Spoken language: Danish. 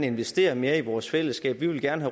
investere mere i vores fællesskab vi vil gerne